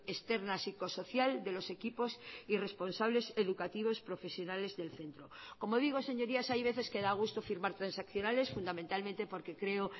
externa psicosocial de los equipos y responsables educativos profesionales del centro como digo señorías hay veces que da gusto firmar transaccionales fundamentalmente porque creo